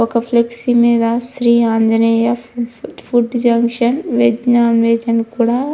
ఒక ఫ్లెక్స్ మీద శ్రీ ఆంజనేయ అని రాసి ఉన్నది. Food section and non veg అని కూడా ఉన్నది.